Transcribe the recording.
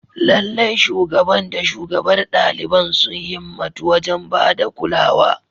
Lallai, Shugaban da shugabar ɗaliban sun himmatu wajen ba da kulawa.